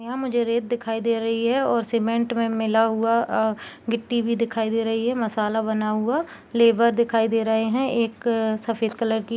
यहाँ मुझे रेत दिखाई दे रही है और सीमेंट में मिला हुआ अ अ गिट्टी भी दिखाई दे रही है मसाला बना हुआ लेबर दिखाई दे रहे हैं अ एक सफ़ेद कलर की --